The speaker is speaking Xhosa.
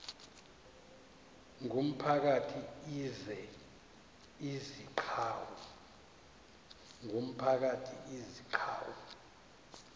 ngumphakathi izi gcawu